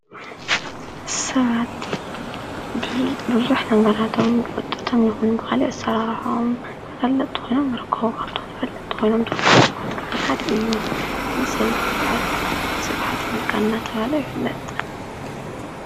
ሰባቲ ብዙኅ ነገራቶም ዂጠቶም ይኹን ብሃል ዕሠራራሖም ክፈለጥ ኾይኖም ረክውቓብቶን ፈለጥ ወይኖም ድብ ሰባት ከዓ ሓድ እዩ ሰብዙይ ከዓ ሥብሓት ነጋ እናተባሃለ ይፍለጥ ።